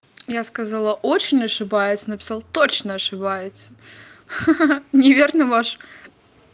я сказала очень ошибаюсь написал точно ошибается ха-ха неверно ваш